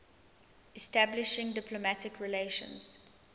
establishing diplomatic relations